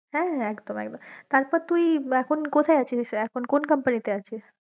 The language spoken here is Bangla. হ্যাঁ হ্যাঁ একদম একদম, তারপর তুই এখন কথায়ে আছিস, এখন কোন company তে আছিস?